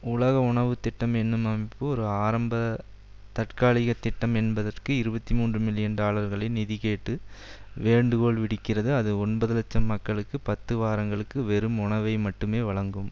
உலக உணவு திட்டம் எனும் அமைப்பு ஒரு ஆரம்ப தற்காலிக திட்டம் என்பதற்கு இருபத்தி மூன்று மில்லியன் டாலர்களை நிதி கேட்டு வேண்டுகோள்விடுக்கிறது அது ஒன்பது இலட்சம் மக்களுக்கு பத்து வாரங்களுக்கு வெறும் உணவை மட்டுமே வழங்கும்